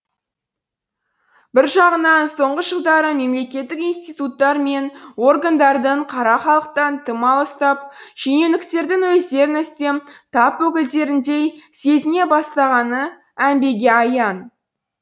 бір жағынан соңғы жылдары мемлекеттік институттар мен органдардың қара халықтан тым алыстап шенеуніктердің өздерін үстем тап өкілдеріндей сезіне бастағаны әмбеге аян